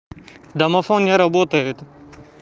домофон не работает